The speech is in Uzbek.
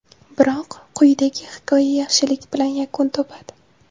Biroq quyidagi hikoya yaxshilik bilan yakun topadi.